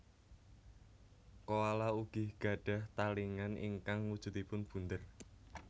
Koala ugi gadhah talingan ingkang wujudipun bunder